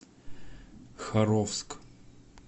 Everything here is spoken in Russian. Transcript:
харовск